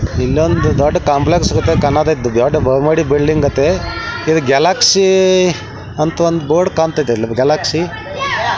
ಇಲ್ಲೊಂದು ದೊಡ್ಡ ಕಾಂಪ್ಲೆಕ್ಸ್ ಗತೆ ಕಂಸ್ಥೈತಿ ದೊಡ್ಡ ಬನಹುಮಹಡಿ ಬಿಲ್ಡಿಂಗ್ ಗತೆ ಇದ್ ಗ್ಯಾಲಕ್ಸಿ ಅಂತ ಒಂದು ಬೋರ್ಡ್ ಕಾಂತೈತಿ ಗ್ಯಾಲಕ್ಸಿ --